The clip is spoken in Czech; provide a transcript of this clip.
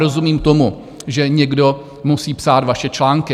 Rozumím tomu, že někdo musí psát vaše články.